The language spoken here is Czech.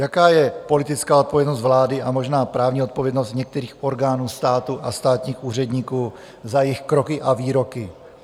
Jaká je politická odpovědnost vlády a možná právní odpovědnost některých orgánů státu a státních úředníků za jejich kroky a výroky?